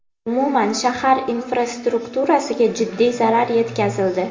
Umuman, shahar infrastrukturasiga jiddiy zarar yetkazildi.